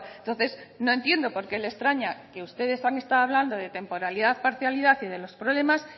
entonces no entiendo por qué le extraña que ustedes han estado hablando de temporalidad parcialidad y de los problemas